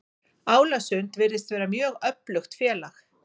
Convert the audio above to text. Álasund virðist vera mjög öflugt félag.